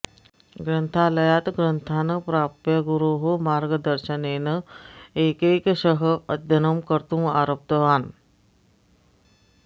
ग्रन्थालयात् ग्रन्थान् प्राप्य गुरोः मार्गदर्शनेन एकैकशः अध्ययनं कर्तुम् आरब्धवान्